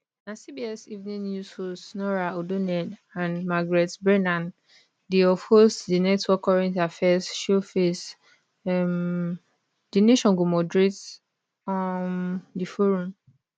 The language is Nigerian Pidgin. na cbs evening news host norah odonnell and margaret brennan di of host di network current affairs show face um di nation go moderate um di forum